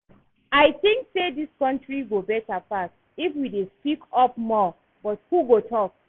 I think say dis country go better pass if we dey speak up more, but who go talk?